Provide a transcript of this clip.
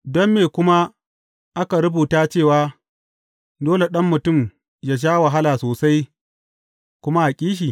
Don me kuma aka rubuta cewa, dole Ɗan Mutum yă sha wahala sosai, kuma a ƙi shi?